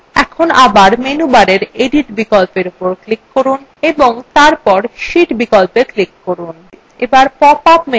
এখন bar menu bar edit বিকল্প উপর click করুন এবং তারপর sheet বিকল্পএ click করুন